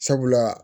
Sabula